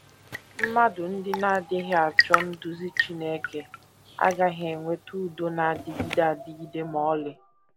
Mmadụ ndị na - adịghị achọ nduzi Chineke agaghị enweta udo na - adịgide adịgide ma ọlị.